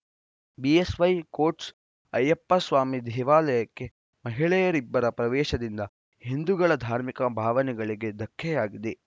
BSY quotes Ayyappaswami ದೇವಾಲಯಕ್ಕೆ ಮಹಿಳೆಯರಿಬ್ಬರ ಪ್ರವೇಶದಿಂದ ಹಿಂದೂಗಳ ಧಾರ್ಮಿಕ ಭಾವನೆಗಳಿಗೆ ಧಕ್ಕೆಯಾಗಿದೆ